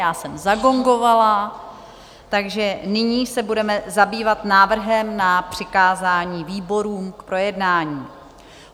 Já jsem zagongovala, takže nyní se budeme zabývat návrhem na přikázání výborům k projednání.